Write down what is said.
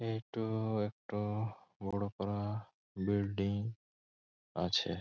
এইটা একটা বড়ো করা বিল্ডিং আছে।